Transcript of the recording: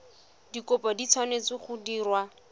dikopo di tshwanetse go direlwa